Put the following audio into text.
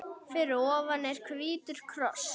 Fyrir ofan er hvítur kross.